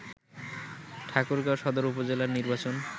ঠাকুরগাঁও সদর উপজেলার নির্বাচন